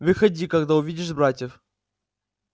выходи когда увидишь братьев